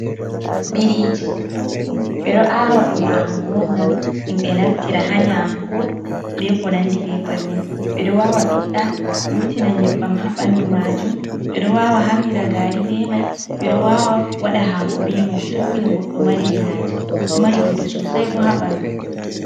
Biriiji ɓe ɗo aawa ɗum aawugo on, ngam himɓe naftira, haa nyamuko be ko nandi be bannin. Ɓe ɗo wawa ɓiɗɗa vurtina nyebbam haa ɓanndu maajum, ɓe ɗo wawa harnira gaari be may, ɓe ɗo wawa waɗa haako be may, tokki no goɗɗo mariri haaje. Ɗo mari bote sosay bo haa ɓanndu.